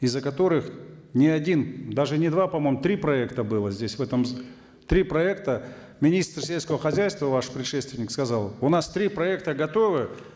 из за которых ни один даже не два по моему три проекта было здесь в этом три проекта министр сельского хозяйства ваш предшественник сказал у нас три проекта готовы